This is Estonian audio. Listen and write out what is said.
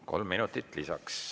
Kolm minutit lisaks.